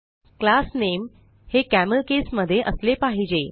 class नामे हे camelcase मध्ये असले पाहिजे